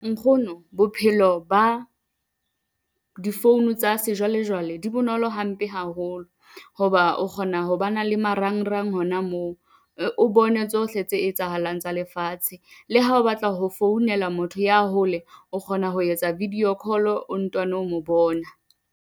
Nkgono bophelo ba di-phone tsa sejwalejwale di bonolo hampe haholo. Ho ba o kgona ho ba na le marangrang hona moo o bone tsohle tse etsahalang tsa lefatshe. Le ha o batla ho founela motho ya hole o kgona ho etsa video call o ntano mo bona.